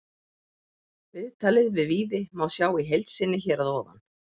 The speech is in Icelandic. Viðtalið við Víði má sjá í heild sinni hér að ofan.